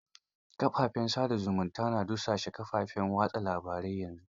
Kafafen sa da zumunta na dusashe kafafen watsa labarai yanzu.